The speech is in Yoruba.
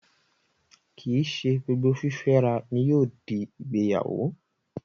Kìí ṣe gbogbo fífẹ́ra ni yóò di ìgbéyàwó